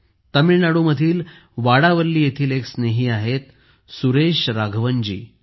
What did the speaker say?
तामिळनाडूमधील वाडावल्ली येथील एक स्नेही आहेत सुरेश राघवनजी